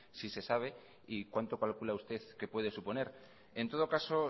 si se sabe y cuánto calcula usted que puede suponer en todo caso